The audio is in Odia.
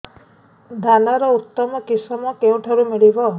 ଧାନର ଉତ୍ତମ କିଶମ କେଉଁଠାରୁ ମିଳିବ